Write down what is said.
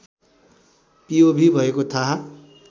POV भएको थाहा